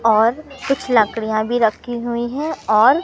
और कुछ लकड़ियां भी रखी हुई हैं और--